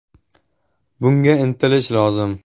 Bunga intilish lozim.